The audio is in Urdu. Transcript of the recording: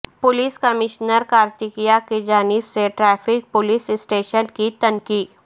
پولیس کمشنر کارتیکیا کی جانب سے ٹریفک پولیس اسٹیشن کی تنقیح